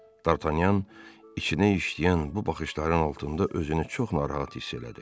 Dartanyan içinə işləyən bu baxışların altında özünü çox narahat hiss elədi.